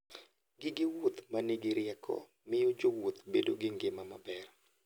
Gige wuoth ma nigi rieko miyo jowuoth bedo gi ngima maber.